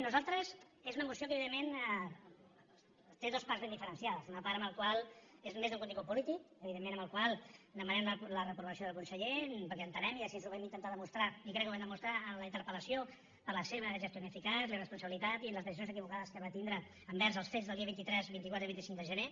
nosaltres és una moció que evidentment té dues parts ben diferenciades una part en la qual és més de contingut polític evidentment en la qual demanem la reprovació del conseller perquè entenem i així ho vam intentar demostrar i crec que ho vam demostrar en la interpel·lació per la seva gestió ineficaç la irresponsabilitat i les decisions equivocades que va tindre envers els fets del dia vint tres vint quatre i vint cinc de gener